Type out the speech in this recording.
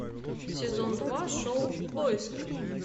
сезон два шоу в поиске